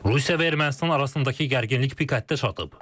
Rusiya və Ermənistan arasındakı gərginlik pik həddə çatıb.